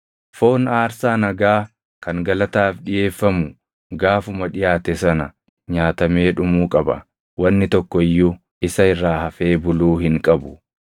Foon aarsaa nagaa kan galataaf dhiʼeeffamu gaafuma dhiʼaate sana nyaatamee dhumuu qaba; wanni tokko iyyuu isa irraa hafee buluu hin qabu.